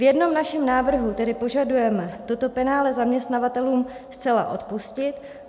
V jednom našem návrhu tedy požadujeme toto penále zaměstnavatelům zcela odpustit.